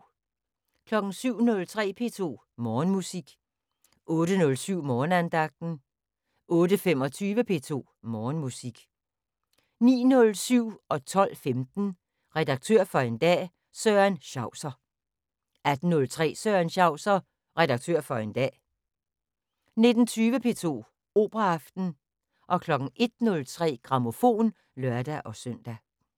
07:03: P2 Morgenmusik 08:07: Morgenandagten 08:25: P2 Morgenmusik 09:07: Redaktør for en dag – Søren Schauser 12:15: Redaktør for en dag – Søren Schauser 18:03: Søren Schauser – Redaktør for en dag 19:20: P2 Operaaften 01:03: Grammofon (lør-søn)